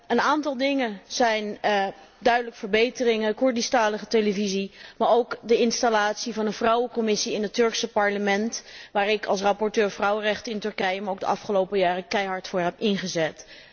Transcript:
Een aantal dingen is duidelijk verbeterd Koerdischtalige televisie, maar ook de installatie van een vrouwencommissie in het Turks parlement, waar ik als rapporteur vrouwenrechten in Turkije, me de afgelopen jaren keihard voor heb ingezet.